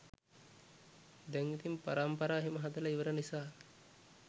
දැන් ඉතින් පරම්පරාව එහෙම හදලා ඉවර නිසා